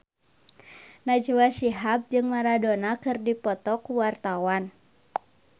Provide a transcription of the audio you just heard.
Najwa Shihab jeung Maradona keur dipoto ku wartawan